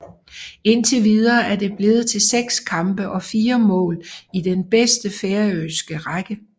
Indtil videre er det blevet til 6 kampe og 4 mål i den bedste færøske række